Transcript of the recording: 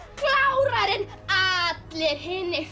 klárari en allir hinir